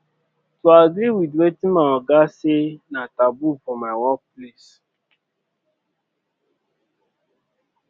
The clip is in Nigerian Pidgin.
to agree with wetin my oga say na taboo for my workplace